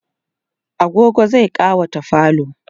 agogo zai ƙawata falo